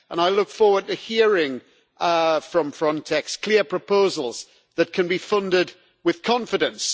I look forward to hearing from Frontex clear proposals that can be funded with confidence.